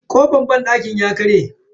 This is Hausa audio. Kofar banɗakin ya karye.